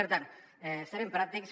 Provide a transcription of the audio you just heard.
per tant serem pràctics